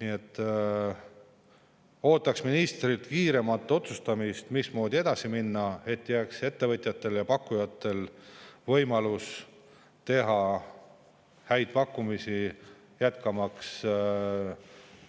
Nii et ootan ministrilt kiiremat otsustamist, mismoodi edasi minna, et ettevõtjatele ja pakkujatele jääks võimalus teha häid pakkumisi jätkamaks